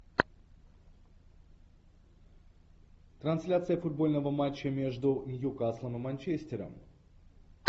трансляция футбольного матча между ньюкаслом и манчестером